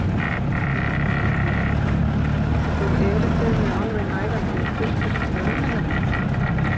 Jóhanna Margrét: og eruð þið með alveg nægar birgðir fyrir dvölina hérna?